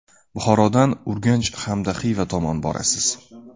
Buxorodan Urganch hamda Xiva tomon borasiz.